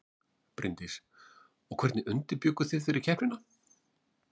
Bryndís: Og hvernig undirbjugguð þið fyrir keppnina?